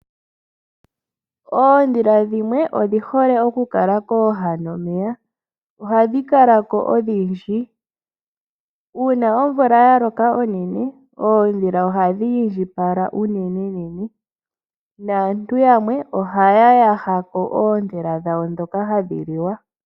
Oondhila dhimwe odhihole okukala kooha nomeya ohadhi kalako odhindji . Uuna omvula yaloka onene oondhila ohadhi indjipala unene nene naantu yamwe ohaya yaha oondhila dhawo ndhoka hadhi liwa.